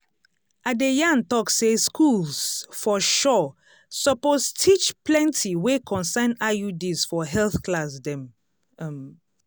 i de yan tok say schools for sure suppose teach plenti wey concern iuds for health class dem um